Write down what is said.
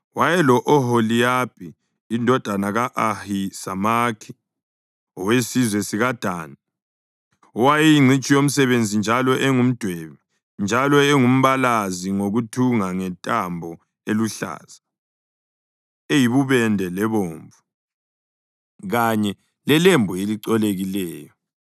wayelo-Oholiyabhi indodana ka-Ahisamakhi owesizwe sikaDani owayeyingcitshi yomsebenzi njalo engumdwebi, njalo engumbalazi ngokuthunga ngentambo eluhlaza, eyibubende lebomvu, kanye lelembu elicolekileyo.)